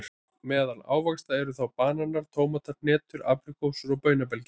Meðal ávaxta eru þá bananar, tómatar, hnetur, apríkósur og baunabelgir.